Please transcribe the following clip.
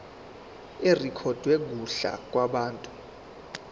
irekhodwe kuhla lwabantu